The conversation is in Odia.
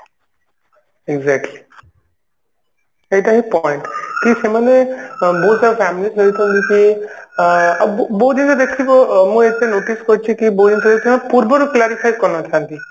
exactly ଏଇଟା ହିଁ point କି ସେମାନେ ବହୁତ ସାରା families ରହିଛନ୍ତି କି ଆ ବ ବ ବହୁତ ଜିନିଷ ଦେଖିବ ମୁଁ ଏବେ notice କରିଛି କି ପୂର୍ବରୁ clarify କରିନଥାନ୍ତି